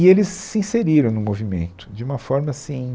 E eles se inseriram no movimento, de uma forma assim...